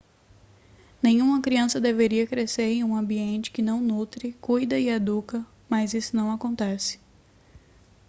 nenhum criança deveria crescer em um ambiente que não nutre cuida e educa mas isso acontece